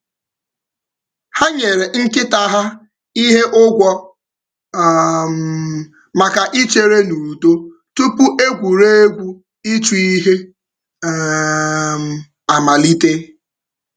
Ha nyere nkịta ha ihe ụgwọ maka ichere n’udo tupu egwuregwu ịchụ ihe amalite.